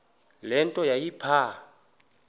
le nto yayipha